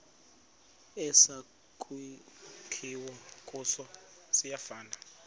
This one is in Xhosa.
esakhiwe kuso siyafana